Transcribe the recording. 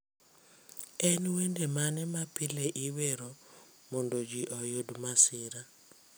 En wende mane ma pile iwero mondo ji oyud masira